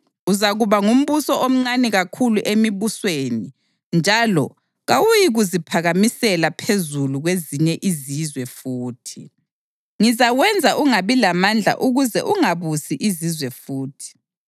Uzakuba ngumbuso omncane kakhulu emibusweni njalo kawuyikuziphakamisela phezulu kwezinye izizwe futhi. Ngizawenza ungabi lamandla ukuze ungabusi izizwe futhi.